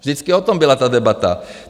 Vždycky o tom byla ta debata.